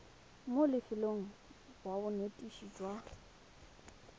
mo lefelong la bonetetshi jwa